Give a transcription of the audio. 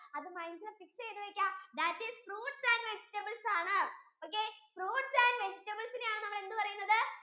അത് mind യിൽ fix ചെയ്തു വെക്ക that is fruits and vegetables ആണ് okay fruits and vegetables ഇനെ ആണ് നമ്മൾ എന്ത് പറയുന്നത്?